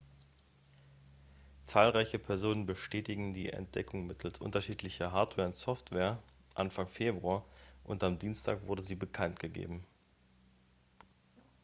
zahlreiche personen bestätigten die entdeckung mittels unterschiedlicher hardware und software anfang februar und am dienstag wurde sie bekanntgegeben